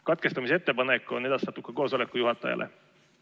Katkestamise ettepanek on edastatud ka koosoleku juhatajale.